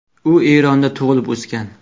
U Eronda tug‘ilib, o‘sgan.